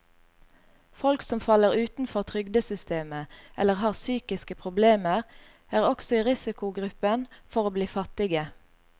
Folk som faller utenfor trygdesystemet eller har psykiske problemer, er også i risikogruppen for å bli fattige.